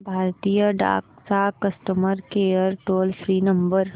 भारतीय डाक चा customer care toll free number